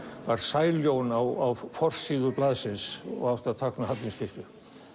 var sæljón á forsíðu blaðsins og átti að tákna Hallgrímskirkju